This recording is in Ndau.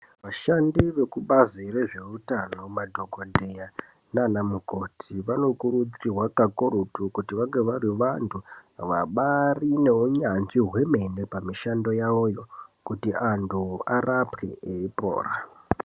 Vashandi vekubazi rezveutano madhokoteya nana mukoti vanokurudzirwa kakurutu kuti vange vari vandu vabaari neunyanzvi hwemene pamishando yavayo kuti andu arapwe eipora.